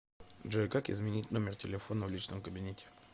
джой как изменить номер телефона в личном кабинете